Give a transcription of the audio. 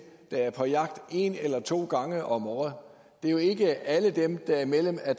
der er på jagt en eller to gange om året det er jo ikke alle dem der er medlem af